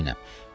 Buna əminəm,